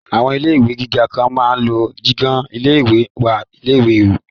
Àwọn ilé ìwé gíga kan máa lọ ìjiyàn ilé ìwé sí ilé ìwé